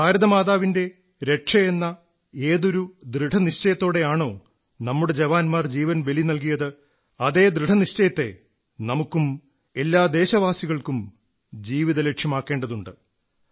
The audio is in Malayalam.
ഭാരതമാതാവിന്റെ രക്ഷയെന്ന ഏതൊരു ദൃഢനിശ്ചയത്തോടെയാണോ നമ്മുടെ ജവാൻമാർ ജീവൻ ബലി നല്കിയത് അതേ ദൃഢനിശ്ചയത്തെ നമുക്കും എല്ലാ ദേശവാസികൾക്കും ജീവിത ലക്ഷ്യമാക്കേണ്ടതുണ്ട്